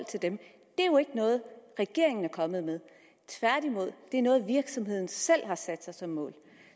til dem det er jo ikke noget regeringen er kommet med tværtimod er det noget virksomheden selv har sat sig som mål